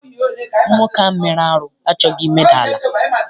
Nwoke ahụ mere arụ achọghị imeda ala.